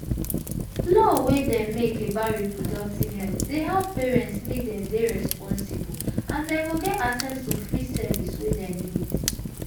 law wey dem make about reproductive health dey help parents make dem dey responsible and dem go get access to free service wey them need.